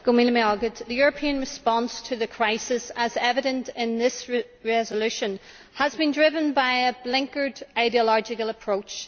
Mr President, the European response to the crisis, as is evident in this resolution, has been driven by a blinkered, ideological approach.